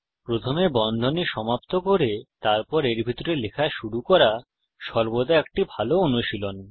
প্রথমে বন্ধনী সমাপ্ত করে তারপর এর ভিতরে লেখা শুরু করা সর্বদা একটি ভাল অনুশীলন